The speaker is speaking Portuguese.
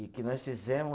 E que nós fizemos